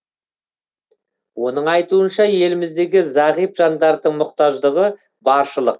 оның айтуынша еліміздегі зағип жандардың мұқтаждығы баршылық